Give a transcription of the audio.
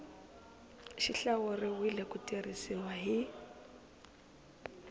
xi hlawuriwile ku tirhisiwa hi